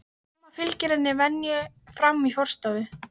Amma fylgir henni að venju fram í forstofu.